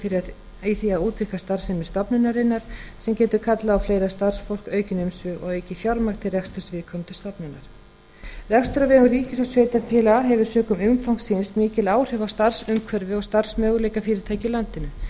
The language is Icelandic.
tækifæri í því að útvíkka starfsemi stofnunarinnar sem getur kallað á fleira starfsfólk aukin umsvif og aukið fjármagn til reksturs viðkomandi stofnunar rekstur á vegum ríkis og sveitarfélaga hefur sökum umfangs síns mikil áhrif á starfsumhverfi og starfsmöguleika fyrirtækja í landinu